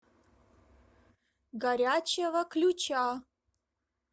горячего ключа